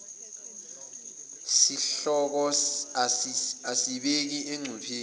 sihloko asibeki engcupheni